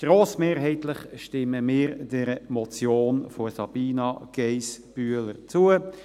Grossmehrheitlich stimmen wir dieser Motion von Sabina Geissbühler zu.